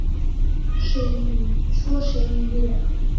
Svo ég segi